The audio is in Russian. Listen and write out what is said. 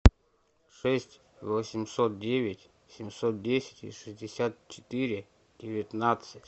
шесть восемьсот девять семьсот десять шестьдесят четыре девятнадцать